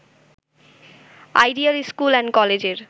ideal school and কলেজের